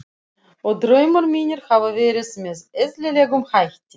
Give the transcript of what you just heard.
Og draumar mínir hafa verið með eðlilegum hætti.